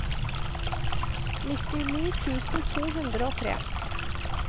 nittini tusen to hundre og tre